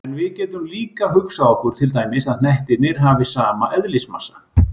En við getum líka hugsað okkur til dæmis að hnettirnir hafi sama eðlismassa.